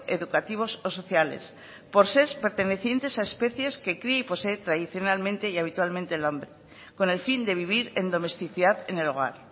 educativos o sociales por ser pertenecientes a especies que cría y posee tradicionalmente y habitualmente el hombre con el fin de vivir en domesticidad en el hogar